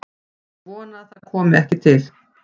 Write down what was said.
Ég vona að það komi ekki til.